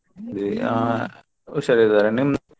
ಹಾ ಹುಷಾರಿದ್ದಾರೆ ನಿಮ್ದು.